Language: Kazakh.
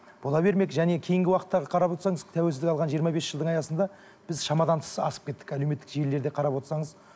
бола бермек және кейінгі уақыттағы қарап отырсаңыз тәуелсіздік алған жиырма бес жылдың аясында біз шамадан тыс асып кеттік әлеуметтік желілерде қарап отырсаңыз